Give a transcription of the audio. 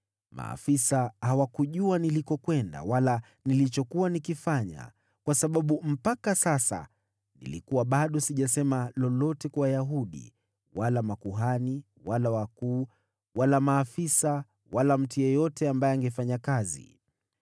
Maafisa hawakujua nilikokwenda wala nilichokuwa nikifanya, kwa sababu mpaka sasa nilikuwa bado sijasema lolote kwa Wayahudi, wala makuhani, wala wakuu, wala maafisa, wala mtu yeyote ambaye angefanya kazi.